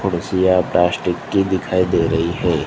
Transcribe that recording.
कुर्सियां प्लास्टिक की दिखाई दे रही है।